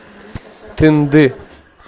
тынды